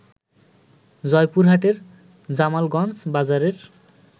জয়পুরহাটের জামালগঞ্জ বাজারের